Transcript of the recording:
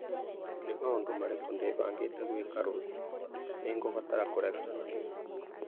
Nĩ maũndũ marĩkũ ndĩbangĩte gwĩka rũciũ nĩ ngũbatara kũregana namo